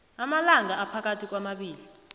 amalanga aphakathi kwamabili